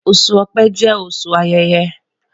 Oṣu Ọ̀pẹ jẹ oṣu ayẹyẹ